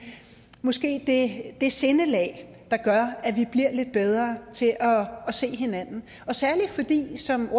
måske det det sindelag der gør at vi bliver lidt bedre til at se hinanden særlig fordi som